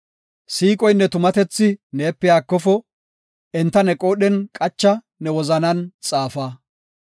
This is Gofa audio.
Siiqoynne tumatethi neepe haakofo; enta ne qoodhen qacha; ne wozanan xaafa.